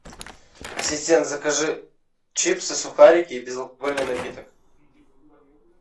ассистент закажи чипсы сухарики и безалкогольный напиток